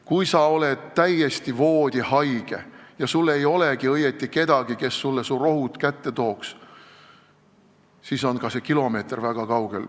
Kui sa oled täiesti voodihaige ja sul ei olegi õieti kedagi, kes sulle rohud kätte tooks, siis on ka see kilomeeter väga kauge.